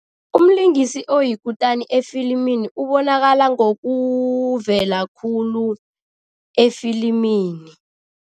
Umlingisi oyikutani efilimini ubonakala ngokuvela khulu efilimini.